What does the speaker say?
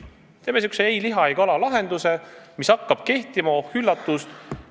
Teeme sellise "ei liha ega kala" lahenduse, mis hakkab kehtima – oh üllatust!